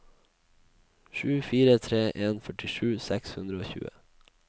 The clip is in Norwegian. sju fire tre en førtisju seks hundre og tjue